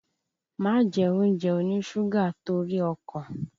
Má jẹ oúnjẹ oníṣúgà torí ọkàn!